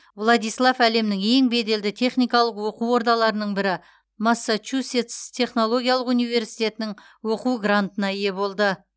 владислав әлемнің ең беделді техникалық оқу ордаларының бірі массачусетс технологиялық университетінің оқу грантына ие болды